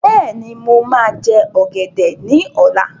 Bẹ́ẹ̀ni, mo máa jẹ ọ̀gẹ̀dẹ̀ ọ́la.